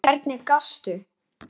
Og hvernig gastu?